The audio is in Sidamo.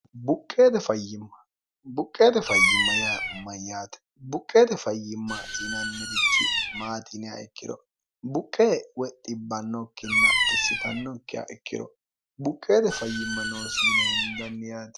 buqqeette fayyimma, buqqeete fayyimma yaa mayyaate? buqqeete fayyimmaati yinannirichi maati yinanniha ikkiro buqqee woy dhibannokkinna xisitannokkiha ikkiro buqqeete fayyimma noosi yine hendanni yaate.